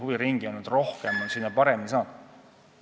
Huviringe on nüüd rohkem ja lapsed on sinna paremini pääsenud.